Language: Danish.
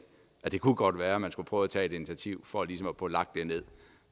at det kunne kunne være man skulle prøve at tage et initiativ for ligesom at for lagt det ned